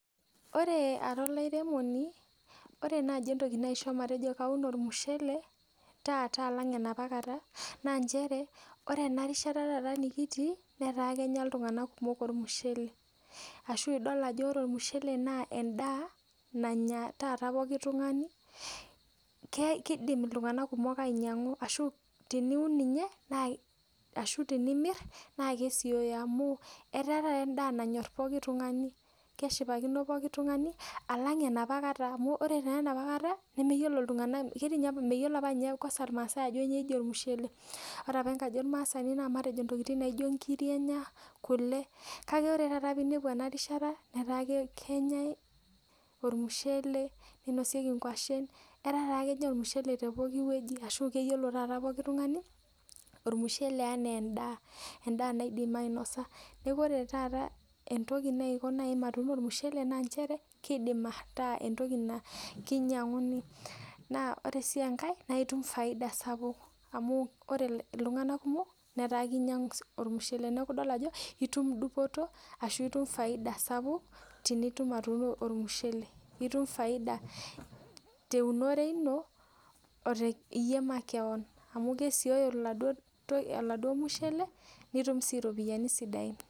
Ore ara olaremoni ore nai entoki naisho matuuno ormusheletaata alang enaapa kata na nchereore enarishata taata nikitii nataa kenya ltunganak kumok ormushele ashu idol ajo ore ormushele na endaa nanya taata pookin tungani kidim ltunganak kumok ainyangu neaku tenimir na kesioyo etaa taata nanyor pooki tungani alang enaapa kata amu kre apa enaapa keta meyiolo apa nche rmasaai ajo keji ormushele ore apa na ntokitin naijo nkirik enya, kule kake ore taata pinepu enarishata netaa nkirik enyae ormushele ninosieki nkwashen ataa kenyai ormushele tepokki wuei nataa kenyaa pokki tungani ormushele ana endaa naidim ainosa neaku ore taata entoki naiko matuuno ormushele na kidim nai ataa entoki na kinyanguni na ore si enkae na itum faidai sapuk ore ltunganak kumok na kinyangu ormushele neaku idol ajo itum Dupoto nitum faidia sapuk teniun ormushele nitum faida teumore ino te iyie makeon amu kesioyo iyo mushele nitum si ropiyani sidain.